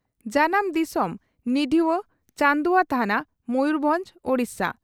ᱡᱟᱱᱟᱢ ᱫᱤᱥᱚᱢ ᱺ ᱱᱤᱰᱷᱣᱟᱹ ᱪᱟᱹᱱᱫᱩᱣᱟᱹ ᱛᱷᱟᱱᱟ, ᱢᱚᱭᱩᱨᱵᱷᱚᱸᱡᱽ, ᱳᱰᱤᱥᱟ ᱾